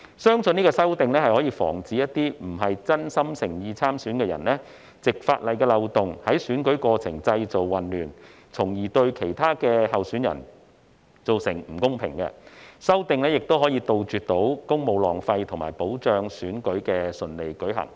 相信這項修正案可防止並非真心誠意參選的人士，藉法例的漏洞在選舉過程中製造混亂，從而對其他候選人造成不公，亦可杜絕公務浪費和保障選舉可順利進行。